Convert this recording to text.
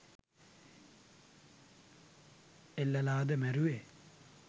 එල්ලලාද මැරුවේ